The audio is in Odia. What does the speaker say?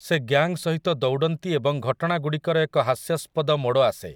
ସେ ଗ୍ୟାଙ୍ଗ୍ ସହିତ ଦୌଡ଼ନ୍ତି ଏବଂ ଘଟଣାଗୁଡ଼ିକର ଏକ ହାସ୍ୟାଷ୍ପଦ ମୋଡ଼ ଆସେ ।